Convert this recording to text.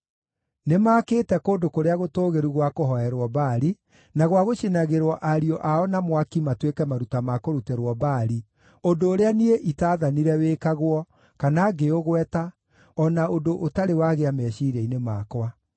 Nĩmakĩĩte kũndũ kũrĩa gũtũũgĩru gwa kũhooerwo Baali, na gwa gũcinagĩrwo ariũ ao na mwaki matuĩke maruta ma kũrutĩrwo Baali, ũndũ ũrĩa niĩ itaathanire wĩkagwo, kana ngĩũgweta, o na ũndũ ũtarĩ wagĩa meciiria-inĩ makwa.